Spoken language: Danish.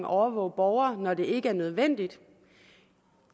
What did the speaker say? overvåger borgerne når det ikke er nødvendigt